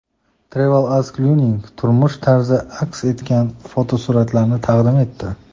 TravelAsk Lyuning turmush tarzi aks etgan fotosuratlarni taqdim etdi .